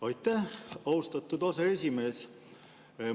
Aitäh, austatud aseesimees!